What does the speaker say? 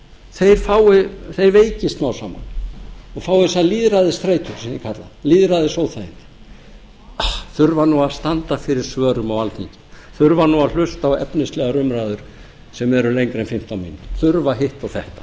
þeir veikist smám saman og fái þessa lýðræðisþreytu sem ég kalla svo lýðræðisóþægindi þurfa nú að standa fyrir svörum á alþingi þurfa nú að hlusta á efnislegar umræður sem eru lengri en fimmtán mínútur þurfa hitt og þetta